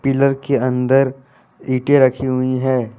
Pillar के अंदर ईंटे रखी हुई हैं।